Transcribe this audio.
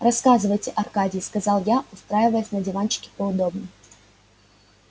рассказывайте аркадий сказал я устраиваясь на диванчике поудобней